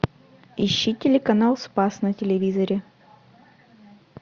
ищи телеканал спас на телевизоре